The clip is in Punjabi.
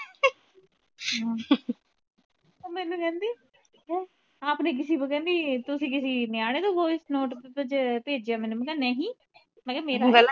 ਉਹ ਮੈਨੂੰ ਕਹਿੰਦੀ ਆਪਨੇ ਕਿਸੀ ਕੋ ਕਹਿੰਦੀ ਤੁਸੀ ਕਿਸੀ ਨਿਆਣੇ ਤੋਂ voice note ਭੇਜ ਭੇਜਿਆ ਮੈਨੂੰ ਮੈ ਕਿਹਾ ਨਹੀਂ ਮੈ ਕਿਹਾ ਮੇਰਾ